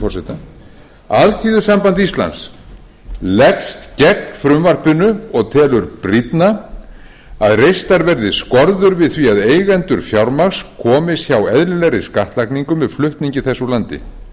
forseta alþýðusamband íslands leggst gegn frumvarpinu og telur brýnna að reistar verði skorður við því að eigendur fjármagns komist hjá eðlilegri skattlagningu með flutningi þess úr landi